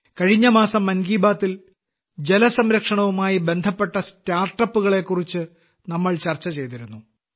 കഴിഞ്ഞ മാസം മൻ കി ബാത്തിൽ ജലസംരക്ഷണവുമായി ബന്ധപ്പെട്ട സ്റ്റാർട്ടപ്പുകളെ കുറിച്ച് നമ്മൾ ചർച്ച ചെയ്തിരുന്നു